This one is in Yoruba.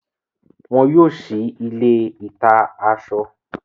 Wọ́n yóò si ilé ìta-asọ.